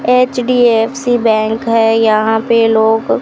HDFC bank है यहां पे लोग--